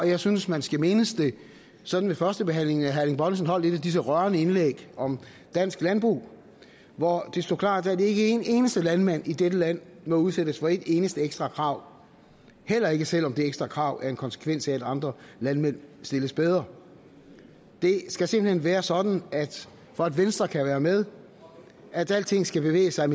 jeg synes man skal mindes det sådan ved førstebehandlingen at herre erling bonnesen holdt et af disse rørende indlæg om dansk landbrug hvor det stod klart at ikke en eneste landmand i dette land må udsættes for et eneste ekstra krav heller ikke selv om det ekstra krav er en konsekvens af at andre landmænd stilles bedre det skal simpelt hen være sådan for at venstre kan være med at alting skal bevæge sig